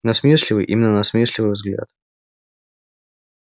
насмешливый именно насмешливый взгляд